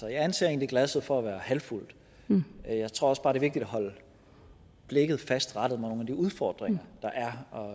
jeg anser egentlig glasset for at være halvt fuldt jeg tror også bare det er vigtigt at holde blikket fast rettet mod nogle af de udfordringer der er og